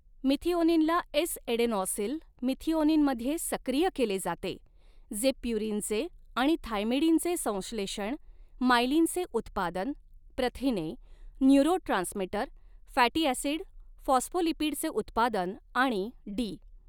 मिथिओनिनला S adenosyl मिथिओनिनमध्ये सक्रिय केले जाते, जे प्युरिनचे आणि थायमिडीनचे संश्लेषण, मायलीनचे उत्पादन, प्रथिने न्यूरोट्रांसमीटर फॅटी ॲसिड फॉस्फोलिपिडचे उत्पादन आणि डी.